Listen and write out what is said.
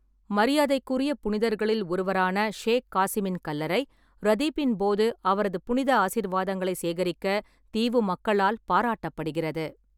மரியாதைக்குரிய புனிதர்களில் ஒருவரான ஷேக் காசிமின் கல்லறை, ரதீப்பின் போது அவரது புனித ஆசீர்வாதங்களை சேகரிக்க தீவு மக்களால் பாராட்டப்படுகிறது.